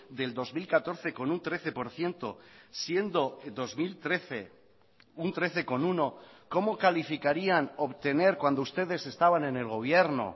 del dos mil catorce con un trece por ciento siendo dos mil trece un trece coma uno cómo calificarían obtener cuando ustedes estaban en el gobierno